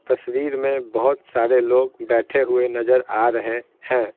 तस्वीर में बहुत सारे लोग बैठे हुए नजर आ रहे हैं।